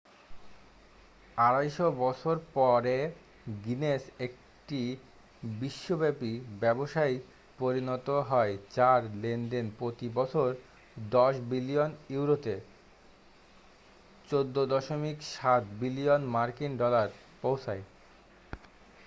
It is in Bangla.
250 বছর পরে গিনেস একটি বিশ্বব্যাপী ব্যবসায় পরিণত হয় যার লেনদেন প্রতি বছর 10 বিলিয়ন ইউরোতে 14.7 বিলিয়ন মার্কিন ডলার পৌঁছায়।